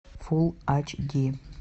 фулл ач ди